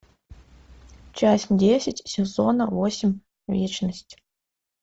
часть десять сезона восемь вечность